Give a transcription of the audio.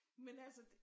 Men altså det